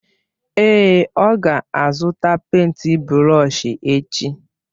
Èé, ọ ga-azụta pèịnt brọsh echi.